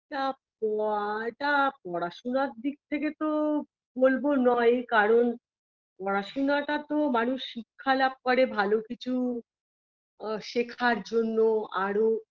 তা প আ তা পড়াশোনার দিক থেকে তো বলব নয় কারণ পড়াশোনাটা তো মানুষ শিক্ষা লাভ করে ভালো কিছু আ শেখার জন্য আরও